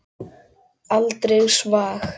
Aldrei svag!